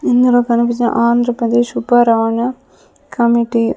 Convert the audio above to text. ఇందులో కనిపించే ఆంధ్రప్రదేశ్ ఉపారాంగ కమిటీ .